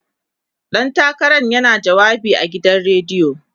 ɗan takaran yana jawabi a gidan rediyo